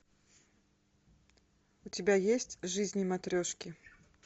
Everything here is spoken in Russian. у тебя есть жизни матрешки